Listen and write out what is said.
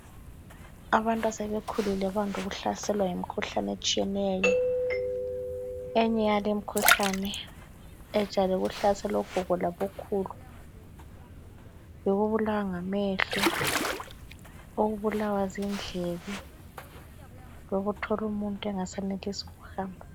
Abantu asebekhulile bande ukuhlaselwa yimikhuhlane etshiyeneyo. Enye yale imikhuhlane ejwayele ukuhlasela ogogo labokhulu yikubulawa ngamehlo, ukubulawa zindlebe lokuthola umuntu engasayenelisi ukuhamba